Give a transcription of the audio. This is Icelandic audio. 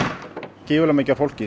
gífurlega mikið af fólki